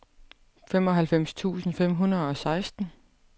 femoghalvfems tusind fem hundrede og seksten